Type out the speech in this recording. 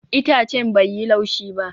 Itacen bai yi laushi ba